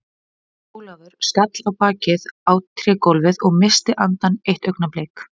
Jón Ólafur skall á bakið á trégólfið og missti andann eitt augnablik.